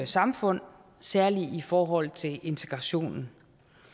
samfund særlig i forhold til integrationen